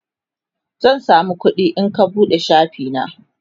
zan samu kuɗi in ka buɗe shafi na